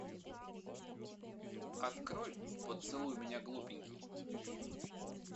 открой поцелуй меня глупенький